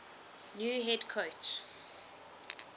new head coach